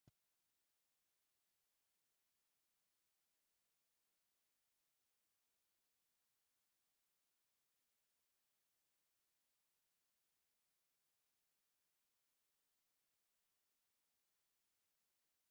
Muummeen ministara Itiyoophiyaa mana maree bakka bu'ootaa irratti haasa'a yemmuu taasisaa jiran. Gaaffilee miseensota mana maree keessaa ka'aniin deebii kennaa jiru. Miseensonni mana maree gaaffilee mana keessaa ka'eef deebii dhaggeeffachaa jiru.